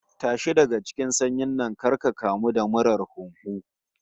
Tashi daga cikin sanyin nan kar ka kamu da murar huhu